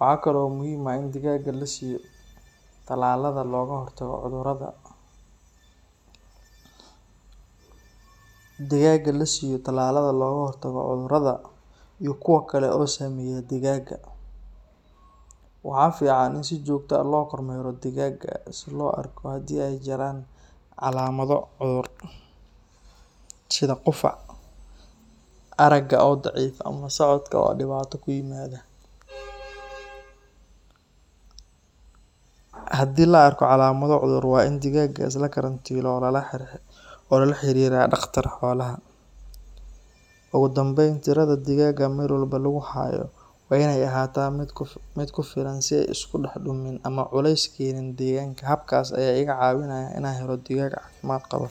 Waxaa kale oo muhiim ah in digaagga la siiyo talaalada looga hortago cudurrada, iyo kuwa kale oo saameeya digaagga. Waxaa fiican in si joogto ah loo kormeero digaagga si loo arko haddii ay jiraan calaamado cudur, sida qufac, aragga oo daciifa ama socodka oo dhibaato ku yimaada. Haddii la arko calaamado cudur, waa in digaaggaas la karantiilo oo lala xiriiraa dhaqtar xoolaha. Ugu dambayn, tirada digaagga meel walba lagu hayo waa in ay ahaataa mid ku filan si aysan isku dhex dumin ama culeys u keenin deegaanka. Hababkaas ayaa iga caawinaya in aan helo digaag caafimaad qaba.